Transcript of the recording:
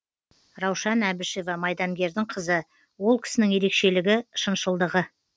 раушан әбішева майдангердің қызы ол кісінің ерекшелігі шыншылдығы